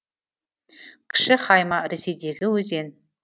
кіші хайма ресейдегі өзен